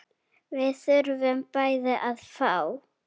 Við þurfum bæði að fá.